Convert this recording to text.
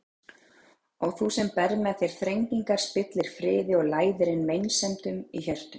Ó þú sem berð með þér þrengingar, spillir friði og læðir inn meinsemdum í hjörtun!